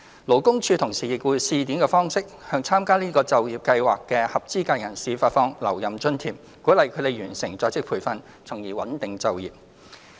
勞工處同時以試點方式，向參加這些就業計劃的合資格人士發放留任津貼，鼓勵他們完成在職培訓，從而穩定就業。